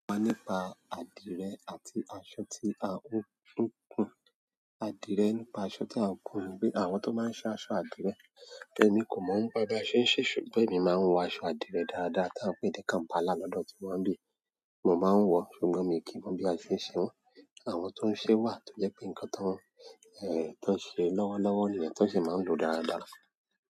Sọ nípa adirẹ àti aṣọ ti a n kun adirẹ nípa aṣọ ti a n kun nipe àwọn to maa n ṣe aṣọ adirẹ emi kò mọ̀ nípa bi a ṣé ń ṣe ṣùgbọ́n èmi máa ń wọ aṣọ àdìrẹ dáadáa tá ń pè ni Kampala lọ́dọ̀ tíwá ni bí yi, mo máa ń wọ̀ ṣùgbọ́n mi kì í mọ bí a ṣe ń ṣe wọ́n. Àwọn tó ń ṣe wà tó jẹ́ pé nǹkan tó ń ṣe lọ́wọ́lọ́wọ́ niyẹ́n ti wọn sì máa ń lò dáadáa.